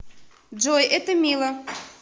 джой это мило